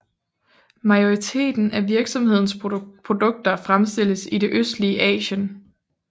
Majoriteten af virksomhedens produkter fremstilles i det østlige Asien